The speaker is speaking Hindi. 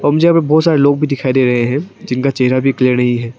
और मुझे यहां पे बहुत सारे लोग भी दिखाई दे रहे हैं जिनका चेहरा भी क्लियर नहीं है।